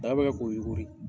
Daba be kɛ k'o